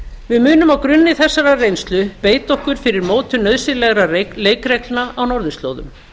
við munum á grunni þessarar reynslu beita okkur fyrir mótun nauðsynlegra leikreglna á norðurslóðum